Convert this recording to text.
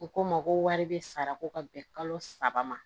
U ko n ma ko wari bɛ sara ko ka bɛn kalo saba ma